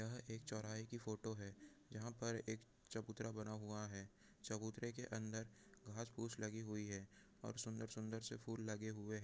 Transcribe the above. यह एक चौराहा की फ़ोटो है यहाँ पर एक चबूतरा बना हुया है चबूतरे के अन्दर घास फूस लगी हुई है और सुंदर- सुंदर से फूल लगे हुये--